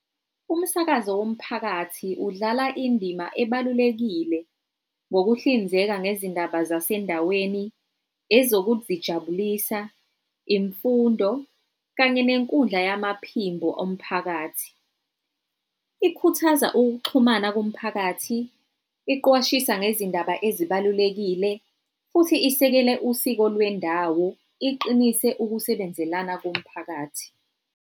Umsakazo womphakathi udlala indima ebalulekile ngokuhlinzeka ngezindaba zasendaweni, ezokuzijabulisa, imfundo, kanye nenkundla yamaphimbo omphakathi. Ikhuthaza ukuxhumana komphakathi, iqwashisa ngezindaba ezibalulekile, futhi isekele usiko lwendawo, iqinise ukusebenzelana komphakathi.